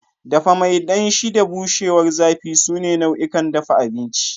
Dafa mai danshi da bushewar zafi sune nau'ikan dafa abinci.